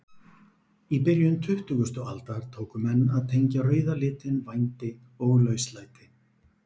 Í byrjun tuttugustu aldar tóku menn að tengja rauða litinn vændi og lauslæti.